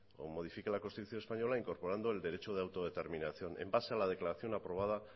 como modifica la constitución española incorporando el derecho de autodeterminación en base a la declaración aprobada